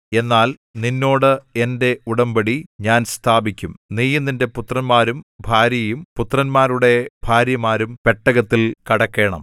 എന്നാൽ നിന്നോട് എന്റെ ഉടമ്പടി ഞാൻ സ്ഥാപിക്കും നീയും നിന്റെ പുത്രന്മാരും ഭാര്യയും പുത്രന്മാരുടെ ഭാര്യമാരും പെട്ടകത്തിൽ കടക്കേണം